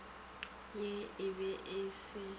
ye e be e se